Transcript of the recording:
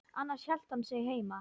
Annars hélt hann sig heima.